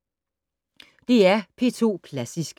DR P2 Klassisk